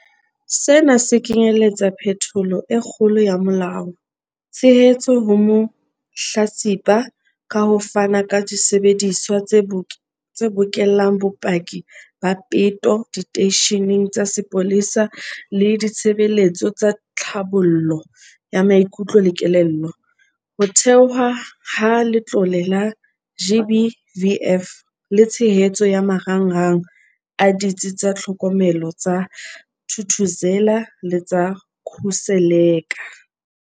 Sena se kenyeletsa phetholo e kgolo ya molao, tshehetso ho mahlatsipa ka ho fana ka disebediswa tse bokellang bopaki ba peto diteisheneng tsa sepolesa le ditshebeletso tsa tlhabollo ya maikutlo le kelello, ho thehwa ha Letlole la GBVF le tshehetso ya marangrang a Ditsi tsa Tlhokomelo tsa Thuthuzela le tsa Khuseleka.